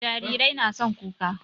Jarirai na son kuka